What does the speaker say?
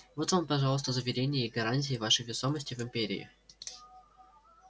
вот вам пожалуйста заверения и гарантии вашей весомости в империи